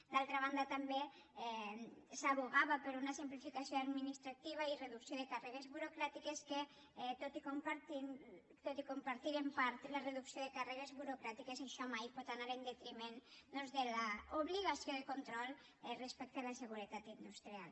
d’altra banda també s’advocava per una simplificació administrativa i reducció de càrregues burocràtiques que tot i compartir en part la reducció de càrregues burocràtiques això mai pot anar en detriment doncs de l’obligació de control respecte a la seguretat industrial